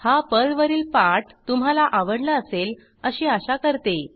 हा पर्लवरील पाठ तुम्हाला आवडला असेल अशी आशा करते